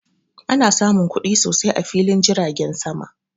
Ana samun kuɗi sosai a filin jiragen sama